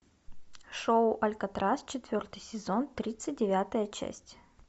шоу алькатрас четвертый сезон тридцать девятая часть